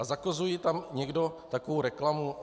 A zakazuje tam někdo takovou reklamu?